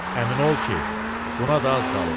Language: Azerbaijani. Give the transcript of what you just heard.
Əmin ol ki, buna da az qalıb.